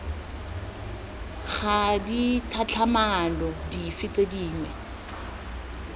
ga ditlhatlhamano dife tse dingwe